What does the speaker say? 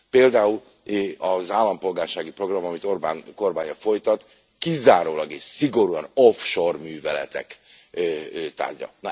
Például az állampolgársági program, amit Orbán kormánya folytat kizárólag és szigorúan offshore műveletek tárgya.